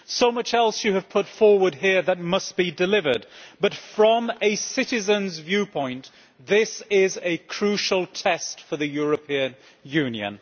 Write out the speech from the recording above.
There is so much else that has been put forward here that must be delivered, but from a citizens' viewpoint, this is a crucial test for the European Union.